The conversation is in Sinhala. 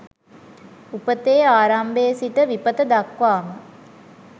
උපතේ ආරම්භයේ සිට විපත දක්වාම